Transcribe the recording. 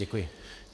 Děkuji.